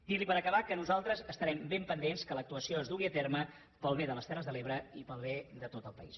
dir li per acabar que nosaltres estarem ben pendents que l’actuació es dugui a terme pel bé de les terres de l’ebre i pel bé de tot el país